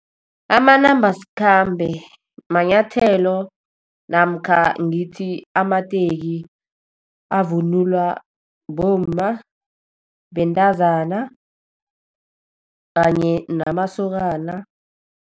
Amanambasikhambe manyathelo, namkha ngithi amateki avunulwa bomma, bentazana kanye namasokana.